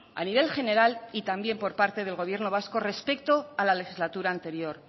a nivel general y también por parte del gobierno vasco respecto a la legislatura anterior